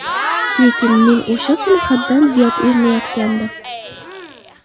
Lekin men o‘sha kuni haddan ziyod erinayotgandim.